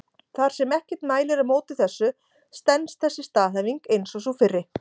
Þar sem ekkert mælir á móti þessu stenst þessi staðhæfing eins og sú fyrri.